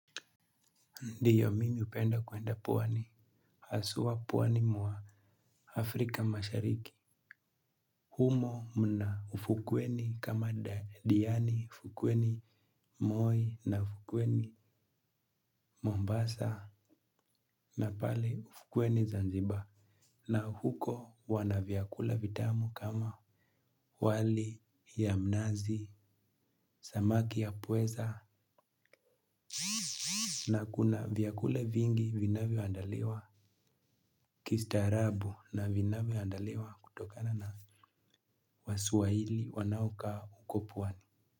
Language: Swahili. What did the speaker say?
Ndiyo mimi upenda kwenda pwani, aswaa pwani mwa Afrika mashariki, humo mna ufukweni kama diani, ufukweni moi na ufukweni Mombasa na pale ufukweni Zanzibar, na huko wanavyakula vitamu kama wali ya mnazi, samaki ya pweza, na kuna vyakule vingi vinavyoandaliwa, kistaarabu na vinavyoandaliwa kutokana na Waswahili wanaokaa uko pwani.